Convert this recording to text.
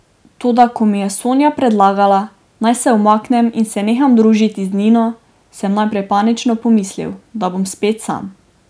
Toda ko mi je Sonja predlagala, naj se umaknem in se neham družiti z Nino, sem najprej panično pomislil, da bom spet sam.